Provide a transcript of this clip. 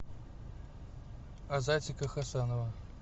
азатика хасанова